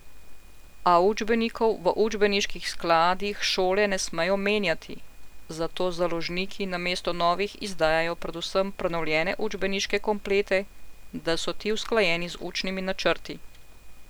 A učbenikov v učbeniških skladih šole ne smejo menjati, zato založniki namesto novih izdajajo predvsem prenovljene učbeniške komplete, da so ti usklajeni z učnimi načrti.